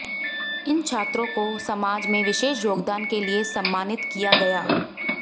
इन छात्रों को सामाज में विशेष योगदान के लिए सम्मानित किया गया